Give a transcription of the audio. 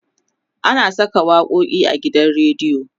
ana Saka waƙoƙi a gidan rediyo